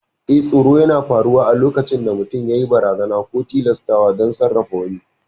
Eh, tsoro yana faruwa ne lokacin da mutum yayi amfani da barazana ko tilastawa don sarrafa wani.